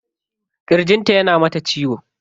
Kirjin ta yana mata ciwo.